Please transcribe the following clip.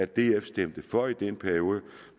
df stemte for i den periode